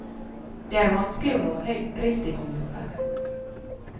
Det er vanskelig å nå høyrisikogrupper.